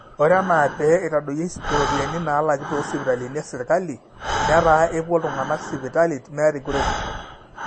ore enaa pee eitadoyioi iropiyiani naalaki toosipitalini esirkali netaa epuo iltung'anak sipitali meeta enkuretisho